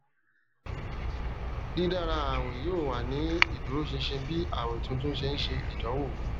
didara awin yoo wa ni iduroṣinṣin bi awin tuntun ṣe n ṣe idanwo